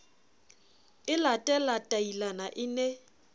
e late latailana e ne